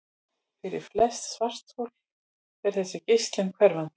Fyrir flest svarthol er þessi geislun hverfandi.